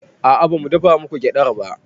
A'a bamu dafa muku gyaɗar ba